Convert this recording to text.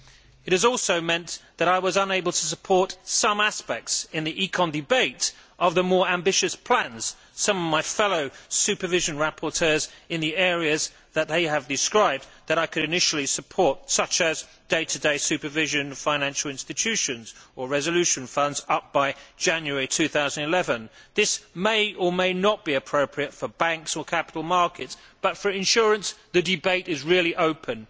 It has also meant that in the ECON debate, I was unable to support some aspects of the more ambitious plans of some of my fellow supervision rapporteurs in the areas they have described that I could initially support, such as day to day supervision of financial institutions or resolution funds up by January 2011. This may or may not be appropriate for banks or capital markets, but for insurance, the debate is really open.